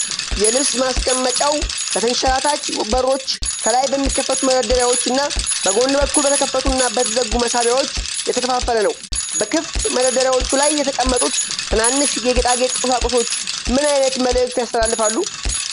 የልብስ ማስቀመጫው በተንሸራታች በሮች፣ ከላይ በሚከፈቱ መደርደሪያዎች እና በጎን በኩል በተከፈቱ እና በተዘጉ መሳቢያዎች የተከፋፈለ ነው። በክፍት መደርደሪያዎች ላይ የተቀመጡት ትናንሽ የጌጣጌጥ ቁሳቁሶች ምን ዓይነት መልዕክት ያስተላልፋሉ?